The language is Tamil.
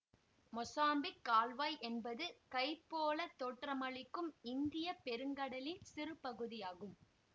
மொசாம்பிக் கால்வாய் என்பது கை போல தோற்றமளிக்கும் இந்தியப்பெருங்கடலின் சிறுபகுதியாகும்